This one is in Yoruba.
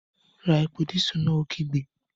Ra epo dísù náà! Ó kígbe